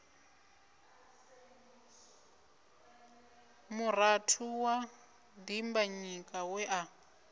murathu wa dimbanyika we a